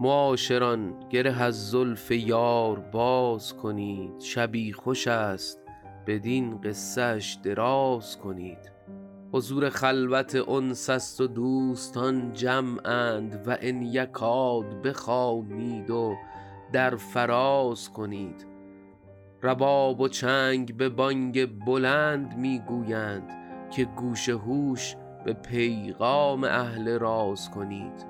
معاشران گره از زلف یار باز کنید شبی خوش است بدین قصه اش دراز کنید حضور خلوت انس است و دوستان جمعند و ان یکاد بخوانید و در فراز کنید رباب و چنگ به بانگ بلند می گویند که گوش هوش به پیغام اهل راز کنید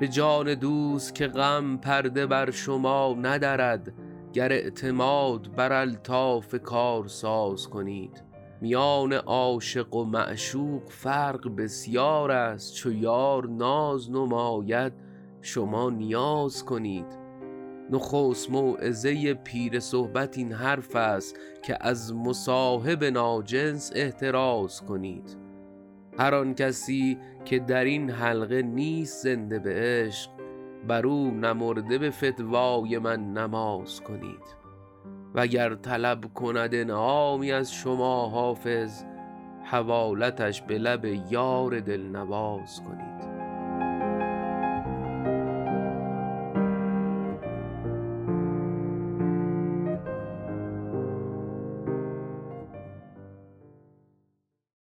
به جان دوست که غم پرده بر شما ندرد گر اعتماد بر الطاف کارساز کنید میان عاشق و معشوق فرق بسیار است چو یار ناز نماید شما نیاز کنید نخست موعظه پیر صحبت این حرف است که از مصاحب ناجنس احتراز کنید هر آن کسی که در این حلقه نیست زنده به عشق بر او نمرده به فتوای من نماز کنید وگر طلب کند انعامی از شما حافظ حوالتش به لب یار دل نواز کنید